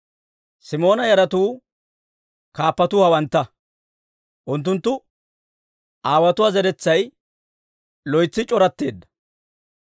Simoona yaratuu kaappatuu hawantta. Unttunttu aawotuwaa zeretsay loytsi c'oratteedda.